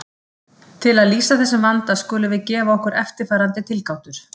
Til að lýsa þessum vanda skulum við gefa okkur eftirfarandi tilgátur.